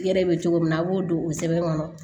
Yɛrɛ bɛ cogo min na a b'o don o sɛbɛn kɔnɔ